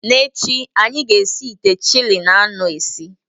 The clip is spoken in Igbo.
N'echi, anyị ga-esi ite chili anụ ezi